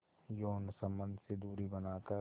यौन संबंध से दूरी बनाकर